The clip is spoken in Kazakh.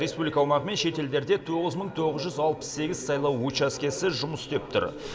республика аумағы мен шет елдерде тоғыз мың тоғыз жүз алпыс сегіз сайлау учаскесі жұмыс істеп тұр